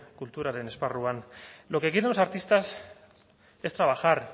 kulturaren esparruan lo que quieren los artistas es trabajar